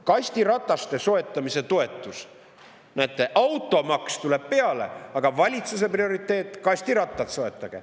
Kastirataste soetamise toetus – näete, automaks tuleb peale, aga valitsuse prioriteet soetage kastirattaid.